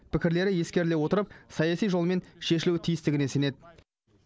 пікірлері ескеріле отырып саяси жолмен шешілуі тиістігіне сенеді